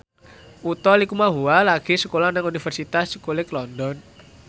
Utha Likumahua lagi sekolah nang Universitas College London